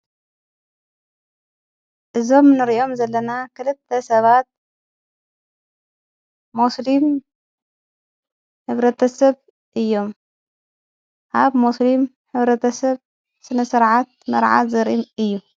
ዞም ርዮም ዘለና ኽልተ ሰባት ሙስልም ኅብረ ተ ሰብ እዮም ሃብ ሙስሊም ኅብረ ተሰብ ስነሠርዓት መርዓት ዘሪም እዩ።